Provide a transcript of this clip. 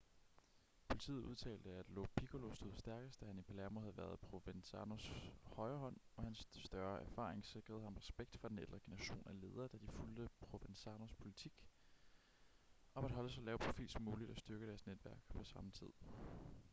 politiet udtalte at lo piccolo stod stærkest da han i palermo havde været provenzanos højre hånd og hans større erfaring sikrede ham respekt fra den ældre generation af ledere da de fulgte provenzanos politik om at holde så lav profil som muligt og styrke deres netværk på samme tid